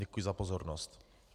Děkuji za pozornost.